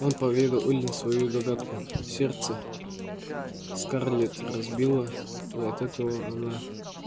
он поведал эллин свою догадку сердце скарлетт разбило и от этого она